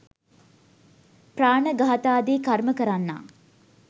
ප්‍රාණඝාතාදී කර්ම කරන්නා